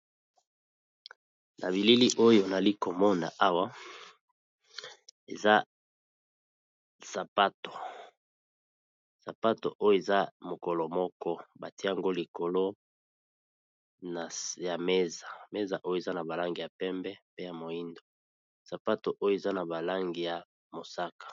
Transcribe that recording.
Na bilili oyo nali komona awa eza sapato, sapato oyo eza mokolo moko batie yango likolo ya meza. Meza oyo eza na ba langi ya pembe, pe ya moyindo, sapato oyo eza na ba langi ya mosaka.